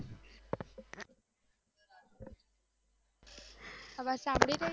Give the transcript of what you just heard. અવાજ સમ્બલી રહી છે